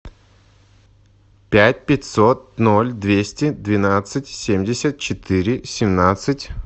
пять пятьсот ноль двести двенадцать семьдесят четыре семнадцать